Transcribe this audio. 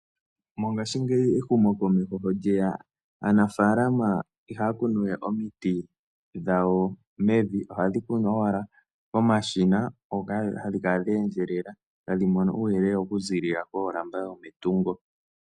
Mongashingeyi ehumokomeho sho lye ya aanafaalama ihaya kunu we omiti dhawo mevi ohadhi kunwa owala komashina hoka hadhi kala dhe endjelela tadhi mono uuyelele okuziilila koolamba dhometungo.